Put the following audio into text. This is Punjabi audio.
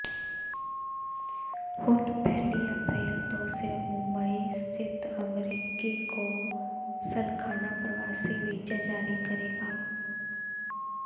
ਹੁਣ ਪਹਿਲੀ ਅਪ੍ਰੈਲ ਤੋਂ ਸਿਰਫ਼ ਮੁੰਬਈ ਸਥਿਤ ਅਮਰੀਕੀ ਕੌ ਾਸਲਖਾਨਾ ਪ੍ਰਵਾਸੀ ਵੀਜ਼ਾ ਜਾਰੀ ਕਰੇਗਾ